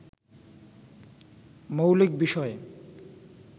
মৌলিক বিষয়